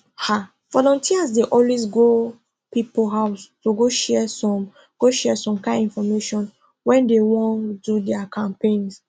ah volunteers dey always go people house to go share some go share some kind infomation when dey wan do their campaigns